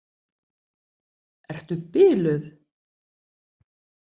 Ertu biluð!